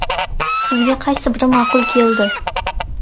Sizga qaysi biri ma’qul keldi?